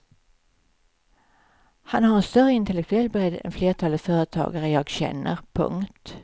Han har en större intellektuell bredd än flertalet företagare jag känner. punkt